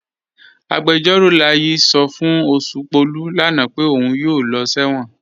Agbẹjọ̀ró Láyí̀ sọ́ fún Oṣùpọ̀lú lánà pé ọ̀un yóò lọ̀ sẹwọn.